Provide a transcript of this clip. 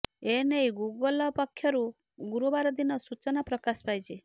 ଏନେଇ ଗୁଗୁଲ ପକ୍ଷରୁ ଗୁରୁବାର ଦିନ ସୂଚନା ପ୍ରକାଶ ପାଇଛି